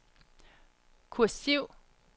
kursiv